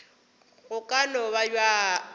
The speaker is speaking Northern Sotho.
go ka no ba bjalo